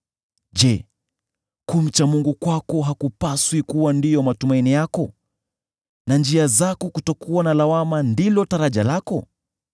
Je, kumcha Mungu kwako hakupaswi kuwa ndiyo matumaini yako na njia zako kutokuwa na lawama ndilo taraja lako?